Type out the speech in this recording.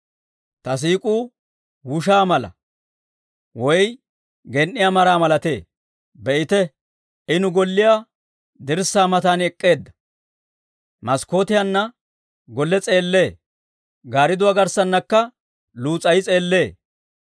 Ta siik'uu wushaa mala; woy gen"iyaa maraa malatee. Be'ite, I nu golliyaa dirssaa matan ek'k'eedda; maskkootiyaanna golle s'eellee; gaaridduwaa garssaanakka luus's'ay s'eellee.